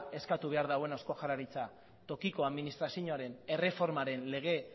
eskatu behar dena eusko jaurlaritzari tokiko administrazinoaren erreformaren lege